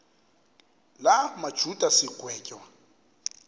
la majuda sigwetywa